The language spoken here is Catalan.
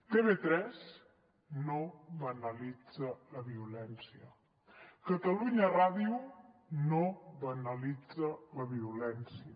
tv3 no banalitza la violència catalunya ràdio no banalitza la violència